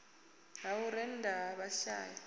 ha u rennda ha vhashai